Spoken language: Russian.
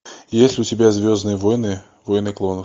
есть ли у тебя звездные войны войны клонов